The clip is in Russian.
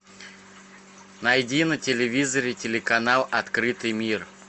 найди на телевизоре телеканал открытый мир